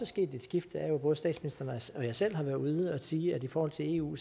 sket et skift er at både statsministeren og jeg selv har været ude at sige at i forhold til eu